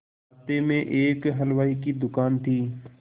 रास्ते में ही एक हलवाई की दुकान थी